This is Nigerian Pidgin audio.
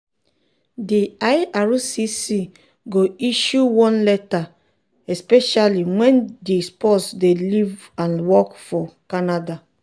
di ircc go issue one letter especially wen di spouse dey live and work for canada.